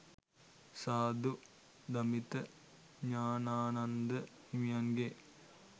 සාධු දමිත ඥානානන්ද හිමියන්ගෙ